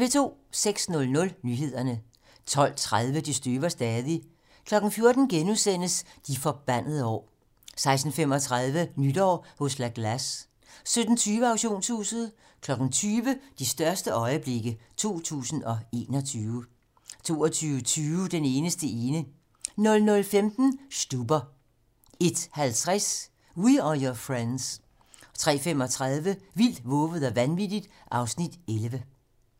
06:00: Nyhederne 12:30: Det støver stadig 14:00: De forbandede år * 16:35: Nytår hos La Glace 17:20: Auktionshuset 20:00: De største øjeblikke 2021 22:20: Den eneste ene 00:15: Stuber 01:50: We Are Your Friends 03:35: Vildt, vovet og vanvittigt (Afs. 11)